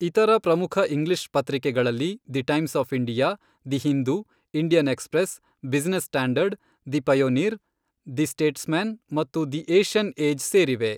ಇತರ ಪ್ರಮುಖ ಇಂಗ್ಲಿಷ್ ಪತ್ರಿಕೆಗಳಲ್ಲಿ the Times of India, the Hindu, Indian Express, Business Standard, the Pioneer, the Statesman ಮತ್ತು the Asian Age ಸೇರಿವೆ.